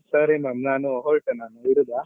ಸರಿ ma'am ನಾನ್ ಹೊರಟೆ ಇಡುದ.